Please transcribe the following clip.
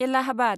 Allahabad